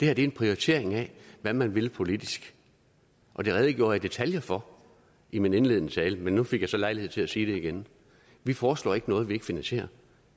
er en prioritering af hvad man vil politisk og det redegjorde jeg i detaljer for i min indledende tale men nu fik jeg så lejlighed til at sige det igen vi foreslår ikke noget som vi ikke finansierer